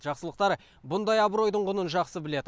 жақсылықтар бұндай абыройдың құнын жақсы біледі